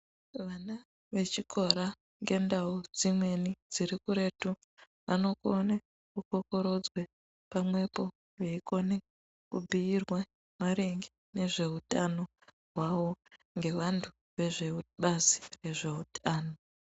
Vana vechikora ngendau dzimweni dziri kuretu vanokone kukokorodzwe pamwepo veikone kubhuyirwa maringe nezveutano hwavo ngevantu vebazi rezveutano.